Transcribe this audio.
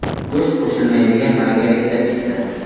Go‘sht qo‘shilmaydigan Margarita pitssasi.